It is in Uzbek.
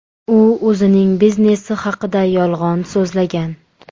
U o‘zining biznesi haqida yolg‘on so‘zlagan.